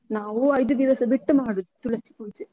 ನಾವು ಐದು ದಿವಸ ಬಿಟ್ಟು ಮಾಡುದು, ತುಳಸಿ ಪೂಜೆ.